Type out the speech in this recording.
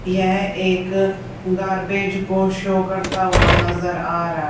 यह एक गार्बेज को शो करता हुआ नजर आ रहा--